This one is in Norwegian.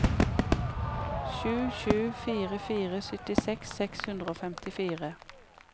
sju sju fire fire syttiseks seks hundre og femtifire